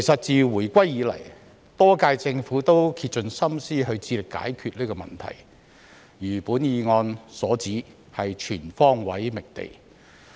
自回歸以來，多屆政府也竭盡心思致力解決這問題，如議案所指，是全方位覓地。